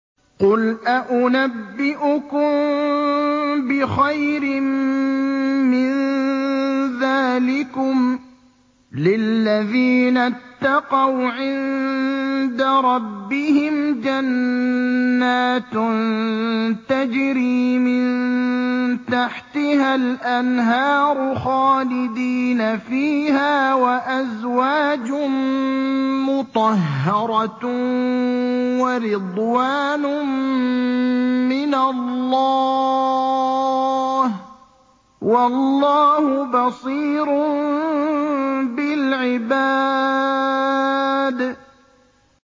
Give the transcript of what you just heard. ۞ قُلْ أَؤُنَبِّئُكُم بِخَيْرٍ مِّن ذَٰلِكُمْ ۚ لِلَّذِينَ اتَّقَوْا عِندَ رَبِّهِمْ جَنَّاتٌ تَجْرِي مِن تَحْتِهَا الْأَنْهَارُ خَالِدِينَ فِيهَا وَأَزْوَاجٌ مُّطَهَّرَةٌ وَرِضْوَانٌ مِّنَ اللَّهِ ۗ وَاللَّهُ بَصِيرٌ بِالْعِبَادِ